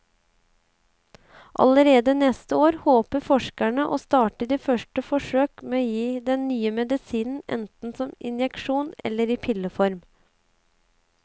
Allerede neste år håper forskerne å starte de første forsøk med å gi den nye medisinen enten som injeksjon eller i pilleform.